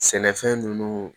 Sɛnɛfɛn ninnu